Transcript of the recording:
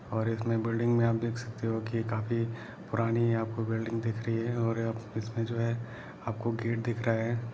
और इसमें बिल्डिंग में आप देख सकते हो कि काफी पुरानी आपको बिल्डिंग दिख रही हैओर इसमें जो है आप को गेट दिख रहा है।